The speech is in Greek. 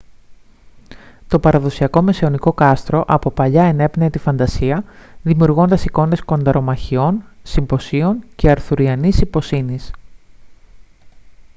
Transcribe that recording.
το παραδοσιακό μεσαιωνικό κάστρο από παλιά ενέπνεε τη φαντασία δημιουργώντας εικόνες κονταρομαχιών συμποσίων και αρθουριανής ιπποσύνης